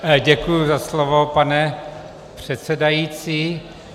Děkuji za slovo, pane předsedající.